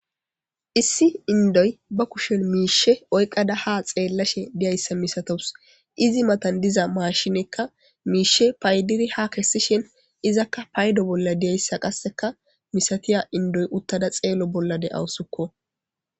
Issi indoy ba kushen miishe oyqada ha xeellashe diyayssa misatous izi matan diza maashinekka miishe paydiri ha kessishen izakka paydo bolla diyayssa qasseka misatiya indoy uttada xeello bollade awusukko.